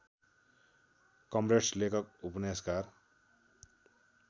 comrades लेखक उपन्यासकार